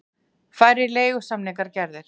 Færri leigusamningar gerðir